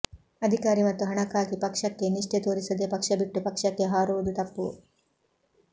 ಅಧಿಕಾರಿ ಮತ್ತು ಹಣಕ್ಕಾಗಿ ಪಕ್ಕಕ್ಕೆ ನಿಷ್ಠೆ ತೋರಿಸದೇ ಪಕ್ಷ ಬಿಟ್ಟು ಪಕ್ಷಕ್ಕೆ ಹಾರುವುದು ತಪ್ಪು